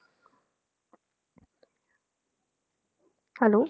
Hello